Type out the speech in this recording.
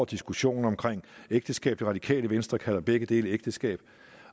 diskussionen om ægteskab det radikale venstre kalder begge dele ægteskab